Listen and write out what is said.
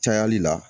Cayali la